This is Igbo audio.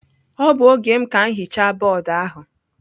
Ọ bụ oge m ka m hichaa bọọdụ ahụ.